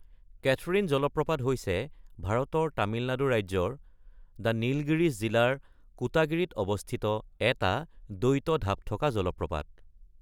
Catherine জলপ্ৰপাত হৈছে ভাৰতৰ তামিলনাডু ৰাজ্যৰ দ্য নীলগিৰিছ জিলাৰ কোটাগিৰিত অৱস্থিত এটা দ্বৈত ঢাপ থকা জলপ্ৰপাত।